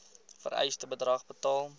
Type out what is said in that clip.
vereiste bedrag betaal